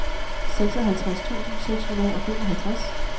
seksoghalvtreds tusind seks hundrede og femoghalvtreds